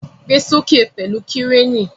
Gbe soke pẹlu Kireni!